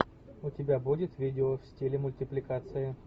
у тебя будет видео в стиле мультипликация